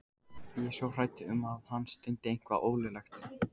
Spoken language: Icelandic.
Ég er svo hrædd um að hann stundi eitthvað ólöglegt.